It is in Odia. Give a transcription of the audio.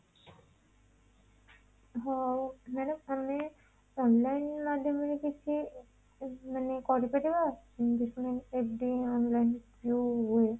ହଉ madam ଆମେ online ମାଧ୍ୟମରେ କିଛି ମାନେ କରିପାଇବା investment, FD online ଯୋଉ ହୁଏ